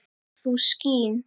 þú skín